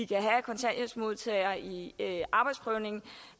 kan have kontanthjælpsmodtagere i arbejdsprøvning